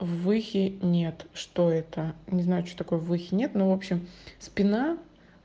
выхи нет что это не знаю что такое выхи нет но в общем спина